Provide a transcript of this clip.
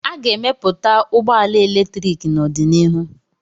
A ga-emepụta ụgbọ ala eletrik n'ọdịnihu